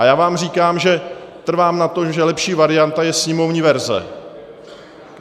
A já vám říkám, že trvám na tom, že lepší varianta je sněmovní verze.